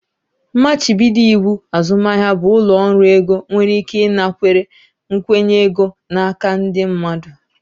Mmachibido iwu azụmahịa bụ ụlọ ọrụ ego nwere ike ịnakwere nkwụnye ego n'aka ndị mmadụ.